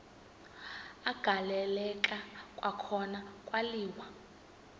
agaleleka kwakhona kwaliwa